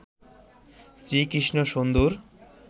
শ্রী কৃষ্ণ সুন্দর